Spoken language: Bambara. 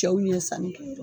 Cɛw ɲen sanni kɛ yɔrɔ